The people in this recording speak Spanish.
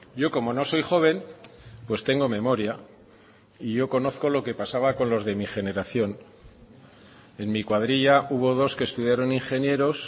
yo como no soy joven pues tengo memoria y yo conozco lo que pasaba con los de mi generación en mi cuadrilla hubo dos que estudiaron ingenieros